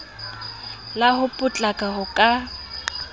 la ho potlaka ho ka